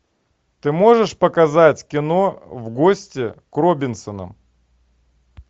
ты можешь показать кино в гости к робинсонам